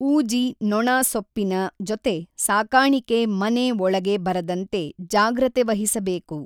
ಊಜಿ ನೊಣ ಸೊಪ್ಪಿನ ಜೊತೆ ಸಾಕಾಣಿಕೆ ಮನೆ ಒಳಗೆ ಬರದಂತೆ ಜಾಗ್ರತೆವಹಿಸಬೇಕು